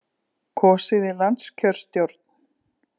Kosið í landskjörstjórn